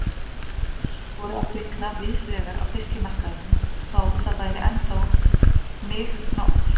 Ljós voru að kvikna víðsvegar á fiskmarkaðinum þó það væri ennþá mig nótt.